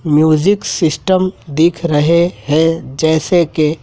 music system दिख रहे हैं जैसे के--